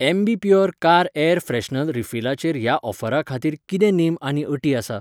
Ambi Pur car air freshener रिफिलाचेर ह्या ऑफरा खातीर कितें नेम आनी अटी आसा ?